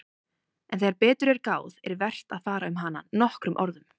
En þegar betur er að gáð er vert að fara um hana nokkrum orðum.